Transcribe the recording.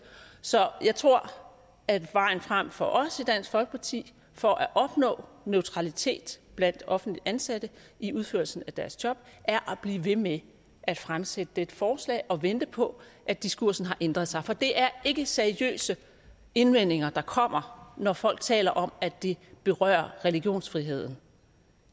så jeg tror at vejen frem for os i dansk folkeparti for at opnå neutralitet blandt offentligt ansatte i udførelsen af deres job er at blive ved med at fremsætte dette forslag og vente på at diskursen har ændret sig for det er ikke seriøse indvendinger der kommer når folk taler om at det berører religionsfriheden